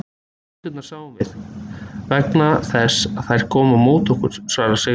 En kindurnar sáum við, vegna þess að þær komu á móti okkur, svarar Sigrún.